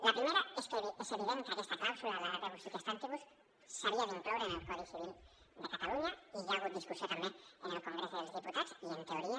la primera és que és evident que aquesta clàusula la rebus sic stantibus s’havia d’incloure en el codi civil de catalunya i hi ha hagut discussió també en el congrés dels diputats i en teoria